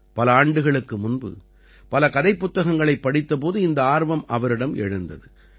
பல ஆண்டுகளுக்கு முன்பு பல கதை புத்தகங்களைப் படித்தபோது இந்த ஆர்வம் அவரிடம் எழுந்தது